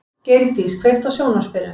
Geirdís, kveiktu á sjónvarpinu.